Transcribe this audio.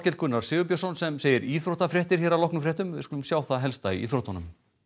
Gunnar Sigurbjörnsson sem segir íþróttafréttir hér að loknum fréttum við skulum sjá það helsta í íþróttunum